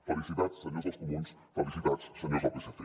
felicitats senyors dels comuns felicitats senyors del psc